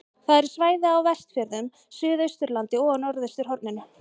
Það eru svæði á Vestfjörðum, Suðausturlandi og á norðausturhorninu.